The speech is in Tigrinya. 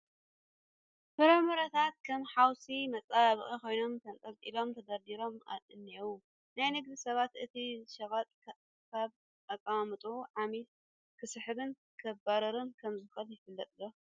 ፍራምረታት ከም ሓውሲ መፀባበቒ ኮይኖም ተንጠልጢሎምን ተደርዲሮም እኔዉ፡፡ ናይ ንግዲ ሰባት እቲ ሸቐጥ ካብ ኣቐማምጥኡ ዓሚል ክስሕብን ከባርርን ከምዝኽእል ይፈልጡ ዶ?